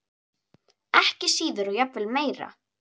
Ekki síður og jafnvel meira.